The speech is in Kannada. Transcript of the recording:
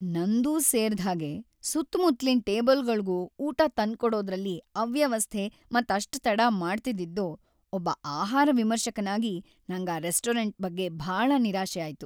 ನಂದೂ ಸೇರ್ದ್‌ಹಾಗೆ ಸುತ್ತಮುತ್ಲಿನ್ ಟೇಬಲ್‌ಗಳ್ಗೂ ಊಟ ತಂದ್ಕೊಡೋದ್ರಲ್ಲಿ ಅವ್ಯವಸ್ಥೆ ಮತ್ತೆ ಅಷ್ಟ್‌ ತಡ ಮಾಡ್ತಿದ್ದಿದ್ದು, ಒಬ್ಬ ಆಹಾರ ವಿಮರ್ಶಕನಾಗಿ ನಂಗ್‌ ಆ ರೆಸ್ಟೋರೆಂಟ್ ಬಗ್ಗೆ ಭಾಳ ನಿರಾಶೆ ಆಯ್ತು.